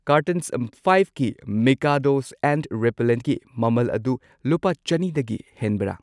Cartons ꯐꯥꯢꯚꯀꯤ Mikado's and ꯔꯤꯄꯦꯜꯂꯦꯟꯠꯀꯤ ꯃꯃꯜ ꯑꯗꯨ ꯂꯨꯄꯥ ꯆꯅꯤꯗꯒꯤ ꯍꯦꯟꯕ꯭ꯔꯥ?